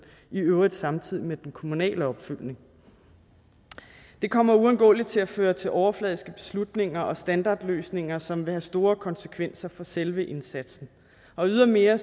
i øvrigt samtidig med den kommunale opfølgning det kommer uundgåeligt til at føre til overfladiske beslutninger og standardløsninger som vil have store konsekvenser for selve indsatsen og ydermere